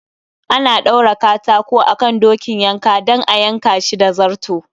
Ana ɗaura katako akan dokin yanka dan a yanka Shi da zarto